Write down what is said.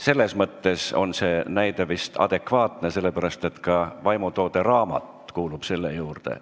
Selles mõttes on see näide vist adekvaatne, sest ka vaimutoode "raamat" kuulub siia hulka.